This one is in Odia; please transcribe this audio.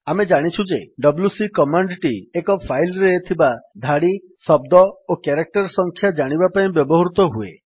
ଆମେ ଜାଣିଛୁ ଯେ ଡବ୍ଲ୍ୟୁସି କମାଣ୍ଡ୍ ଟି ଏକ ଫାଇଲ୍ ରେ ଥିବା ଧାଡି ଶବ୍ଦ ଓ କ୍ୟାରେକ୍ଟର୍ ସଂଖ୍ୟା ଜାଣିବା ପାଇଁ ବ୍ୟବହୃତ ହୁଏ